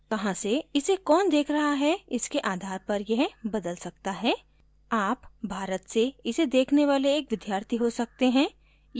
कहाँ से इसे कौन देख रहा है इसके आधार पर यह बदल सकता है आप भारत से इसे देखने वाले एक विद्यार्थी हो सकते हैं